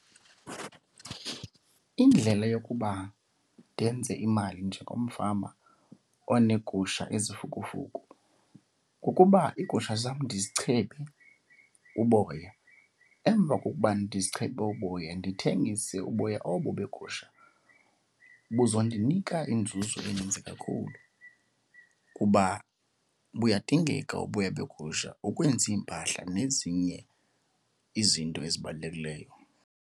Indlela yokuba ndenze imali njengomfama oneegusha ezifukufuku kukuba iigusha zam ndizichebe uboya. Emva kokuba ndizichebe uboya ndithengise uboya obo beegusha. Buzondinika inzuzo eninzi kakhulu kuba buyadingeka uboya begusha ukwenza iimpahla nezinye izinto ezibalulekileyo.